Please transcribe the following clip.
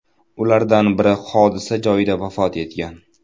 Ulardan biri hodisa joyida vafot etgan.